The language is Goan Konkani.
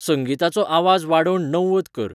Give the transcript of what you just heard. संगिताचो आवाज वाडोवन णव्वद कर